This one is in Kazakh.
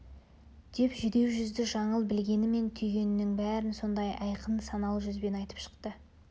деп жүдеу жүзді жаңыл білгені мен түйгенінің бәрін сондай айқын саналы жүзбен айтып шықты